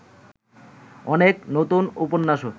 অনেক নূতন উপন্যাসও